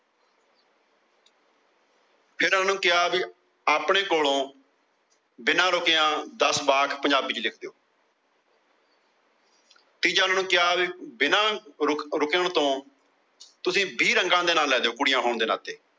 ਜਿਹੜਾ ਉਹਨਾਂ ਨੂੰ ਕਿਹਾ ਕਿ ਆਪਣੇ ਕੋਲੋਂ ਬਿਨਾ ਰੁਕਿਆ ਦੱਸ ਵਾਰ ਪੰਜਾਬੀ ਚ ਲਿਖ ਕੇ ਦਿਓ। ਤੀਜਾ ਓਹਨਾ ਨੂੰ ਕਿਹਾ ਬਿਨਾ ਰੁਕਣ ਤੋਂ ਤੁਸੀਂ ਵੀਹ ਰੰਗਾ ਦੇ ਨਾ ਲੈ ਦੋ। ਕੁੜੀਆਂ ਹੋਣ ਦੇ ਨਾਤੇ।